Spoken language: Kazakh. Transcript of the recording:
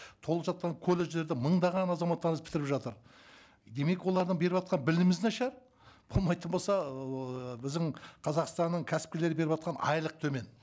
толып жатқан колледждерді мыңдаған азаматтарымыз бітіріп жатыр демек олардың беріватқан біліміміз нашар болмайтын болса ыыы біздің қазақстанның кәсіпкерлері беріватқан айлық төмен